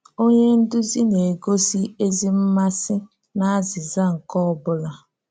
Onye nduzi na-egosi ezi mmasị n’azíza nke ọ́ bụ́la.